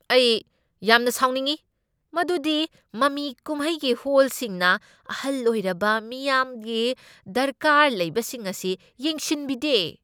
ꯑꯩ ꯌꯥꯝꯅ ꯁꯥꯎꯅꯤꯡꯢ ꯃꯗꯨꯗꯤ ꯃꯃꯤ ꯀꯨꯝꯍꯩꯒꯤ ꯍꯣꯜꯁꯤꯡꯅ ꯑꯍꯜ ꯑꯣꯢꯔꯕ ꯃꯤꯌꯥꯝꯒꯤ ꯗꯔꯀꯥꯔ ꯂꯩꯕꯁꯤꯡ ꯑꯁꯤ ꯌꯦꯡꯁꯤꯟꯕꯤꯗꯦ꯫